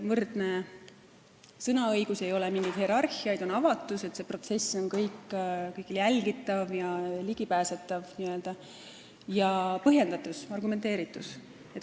Võrdsus , avatus ning põhjendatus, argumenteeritus.